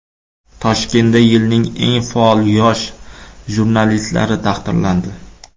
Toshkentda yilning eng faol yosh jurnalistlari taqdirlandi .